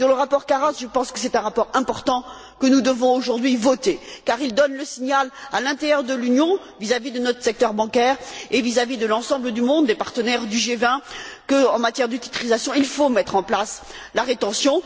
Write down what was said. En ce qui concerne le rapport Karas, je pense que c'est un rapport important que nous devons voter aujourd'hui, car il donne le signal, à l'intérieur de l'Union, vis à vis de notre secteur bancaire et vis à vis de l'ensemble du monde des partenaires du G20 de ce que, en matière de titrisation, il faut mettre en place la rétention.